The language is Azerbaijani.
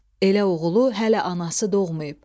Elə oğulu hələ anası doğmayıb.